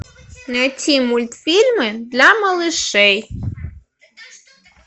найти мультфильмы для малышей